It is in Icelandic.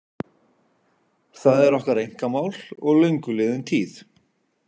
Það er okkar einkamál og löngu liðin tíð.